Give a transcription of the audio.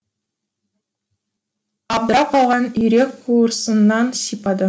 абдырап қалған үйрек қуырсыннан сипады